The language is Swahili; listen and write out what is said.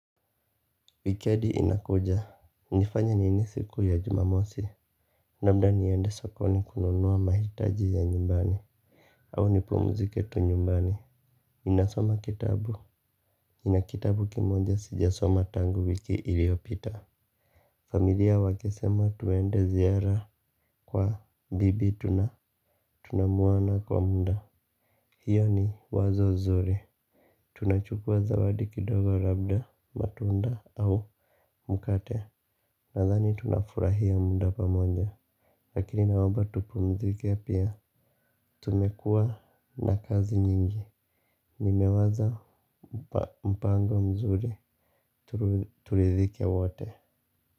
Wikendi inakuja, nifanye nini siku ya jumamosi? Labda niende sokoni kununua mahitaji ya nyumbani, au nipumzike tu nyumbani, ninasoma kitabu, nina kitabu kimoja sijasoma tangu wiki iliyopita. Familia wakisema tuende ziara kwa bibi tunamuona kwa muda. Hiyo ni wazo zuri. Tunachukua zawadi kidogo labda matunda au mkate. Nadhani tunafurahia muda pamoja. Lakini naomba tupumzike pia. Tumekua na kazi nyingi. Nimewaza mpango mzuri. Turidhike wote.